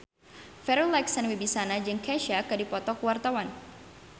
Farri Icksan Wibisana jeung Kesha keur dipoto ku wartawan